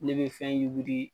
Ne bɛ fɛn yuguri.